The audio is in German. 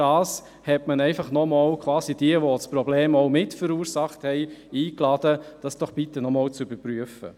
Dadurch hat man quasi diejenigen, die das Problem mitverursacht haben, dazu eingeladen, das Ganze bitte nochmals zu überprüfen.